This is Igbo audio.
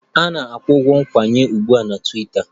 A na-akwụ ụgwọ nkwenye ugbu a na Twiita